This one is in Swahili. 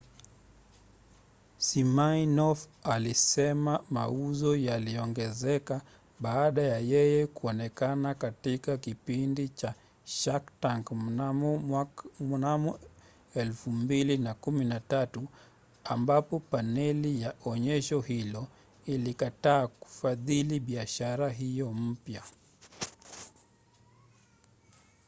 siminoff alisema mauzo yaliongezeka baada ya yeye kuonekana katika kipindi cha shark tank mnamo 2013 ambapo paneli ya onyesho hilo ilikataa kufadhili biashara hiyo mpya